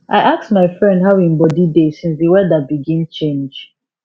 i ask my friend how hin bodi dey since d weather begin change